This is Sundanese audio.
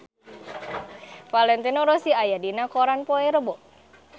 Valentino Rossi aya dina koran poe Rebo